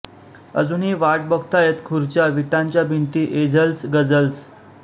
अजूनही वाट बघतायत खुर्च्या विटांच्या भिंती एझल्स गझल्स